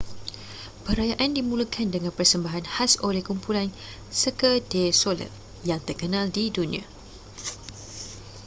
perayaan dimulakan dengan persembahan khas oleh kumpulan cirque du soleil yang terkenal di dunia